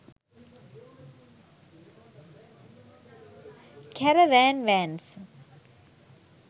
caravan vans